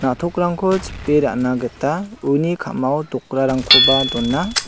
na·tokrangko chip·e ra·na gita uni kamao dokrarangkoba dona.